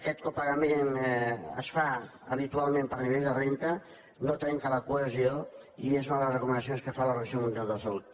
aquest pagament es fa habitualment per nivell de renda no trenca la cohesió i és una de les recomanacions que fa l’organització mundial de la salut